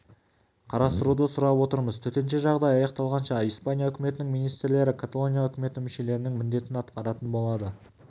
қарастыруды сұрап отырмыз төтенше жағдай аяқталғанша испания үкіметінің министрлері каталония үкіметі мүшелерінің міндетін атқаратын болады